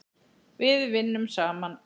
Við vinnum saman.